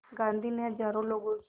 गांधी ने हज़ारों लोगों की